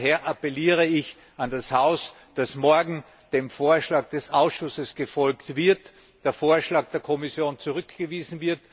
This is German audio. Daher appelliere ich an das Haus, morgen dem Vorschlag des Ausschusses zu folgen und den Vorschlag der Kommission zurückzuweisen